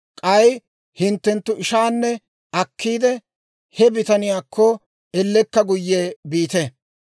K'ay hinttenttu ishaanne akkiidde, he bitaniyaakko ellekka guyye biite.